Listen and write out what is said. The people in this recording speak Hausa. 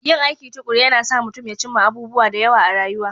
Yin aiki tuƙuru yana sa mutum ya cimma abubuwa da yawa a rayuwa